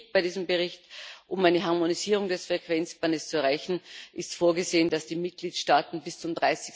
Wichtig bei diesem Bericht Um eine Harmonisierung des Frequenzbandes zu erreichen, ist vorgesehen, dass die Mitgliedstaaten bis zum